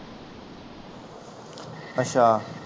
ਅੱਛਾ